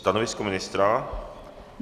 Stanovisko ministra?